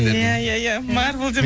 иә иә иә марвел деп